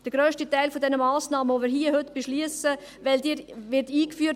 Der grösste Teil der Massnahmen, welchen wir heute hier beschliessen, wird rückwirkend eingeführt.